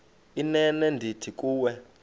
inene ndithi kuwe